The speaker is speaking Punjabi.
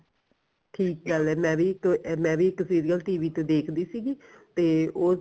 ਠੀਕ ਗੱਲ ਐ ਮੈਂ ਵੀ ਇੱਕ ਮੈਂ ਵੀ ਇੱਕ serial TV ਤੇ ਦੇਖਦੀ ਸੀਗੀ ਤੇ ਉਹ